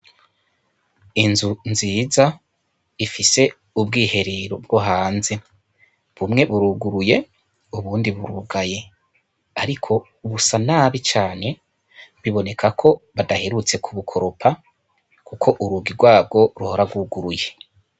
Inzu nziza ifise ubwiherero bwo hanze bumwe buruguruye ubundi burugaye, ariko busa nabi cane biboneka ko badaherutse ku bukoropa, kuko urugi rwabwo ruhora rwuguruye.